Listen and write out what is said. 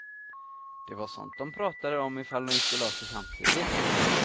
Det var sånt de pratade om ifall de gick och lade sig samtidigt.